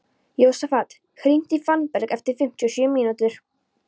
Jósafat, hringdu í Fannberg eftir fimmtíu og sjö mínútur.